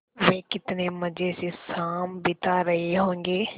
वे कितने मज़े से शाम बिता रहे होंगे